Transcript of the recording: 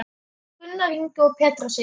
Gunnar Ingi og Petra Sif.